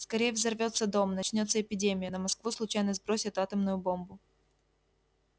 скорее взорвётся дом начнётся эпидемия на москву случайно сбросят атомную бомбу